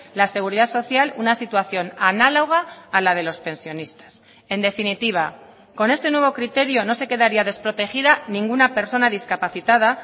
la seguridad social una situación análoga a la de los pensionistas en definitiva con este nuevo criterio no se quedaría desprotegida ninguna persona discapacitada